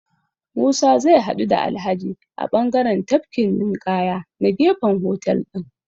Musa zai haɗu da Alhaji a bangaren tafkin ninƙaya na gefen hotel ɗin.